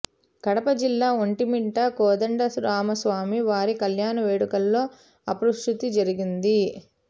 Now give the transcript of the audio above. కడప జిల్లా ఒంటిమిట్ట కోదండరామస్వామి వారి కల్యాణ వేడుకలో అపశృతి జరిగింది